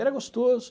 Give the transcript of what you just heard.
Era gostoso.